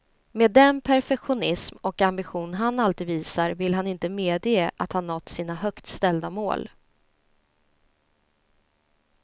Med den perfektionism och ambition han alltid visar, vill han inte medge att han nått sina högt ställda mål.